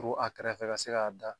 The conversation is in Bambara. A kɛrɛfɛ ka se k'a da